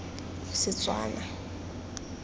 setswana